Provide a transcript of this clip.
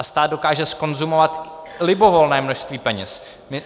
A stát dokáže zkonzumovat libovolné množství peněz.